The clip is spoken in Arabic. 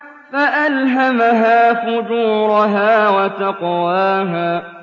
فَأَلْهَمَهَا فُجُورَهَا وَتَقْوَاهَا